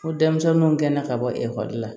Ko denmisɛnninw kɛnna ka bɔ ekɔli la